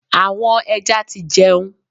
Àwọn ẹja ti jẹun.